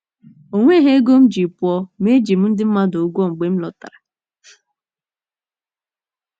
O nweghị ego m ji pụọ, ma eji m ndị mmadụ ụgwọ mgbe m lọtara. ”